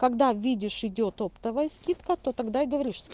когда видишь идёт оптовая скидка то тогда и говоришь